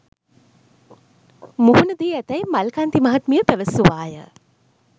මුහුණදී ඇතැයි මල්කාන්ති මහත්මිය පැවසුවාය